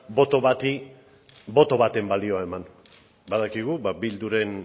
boto bati boto baten balioa eman badakigu bilduren